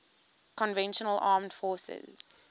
conventional armed forces